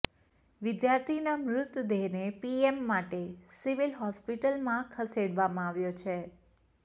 વિદ્યાર્થીના મૃતદેહને પીએમ માટે સિવિલ હોસ્પિટલમાં ખસેડવામાં આવ્યો છે